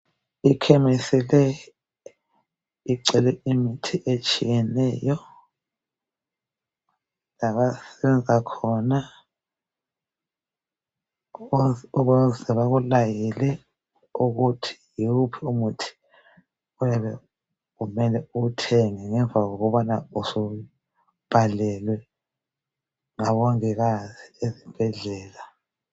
Ikhemisi le ingcwele imithi etshiyeneyo labasenza khona ukuze bekulayele ukuthi yiwuphi umuthi okuyabe kufanele uwuthenge ngemva kokubana subhalelwe ngomongikazi esibhedlela